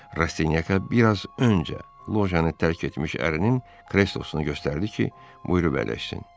Rastinyaka biraz öncə lojanı tərk etmiş əririnin kreslosunu göstərdi ki, buyurub əyləşsin.